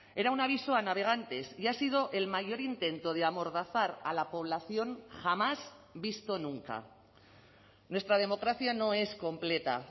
era un aviso a navegantes y ha sido el mayor intento de amordazar a la población jamás visto nunca nuestra democracia no es completa